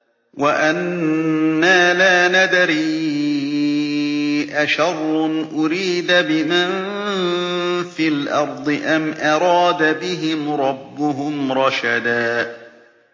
وَأَنَّا لَا نَدْرِي أَشَرٌّ أُرِيدَ بِمَن فِي الْأَرْضِ أَمْ أَرَادَ بِهِمْ رَبُّهُمْ رَشَدًا